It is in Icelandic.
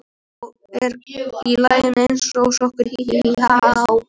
Og ert í laginu eins og sokkur, hí, hí, ha, há.